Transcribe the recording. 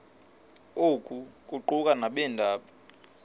oku kuquka nabeendaba